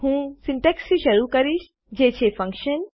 હું સીન્ટેક્ષથી શરુ કરીશ જે છે ફંકશન